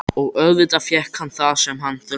Og auðvitað fékk hann það sem hann þurfti.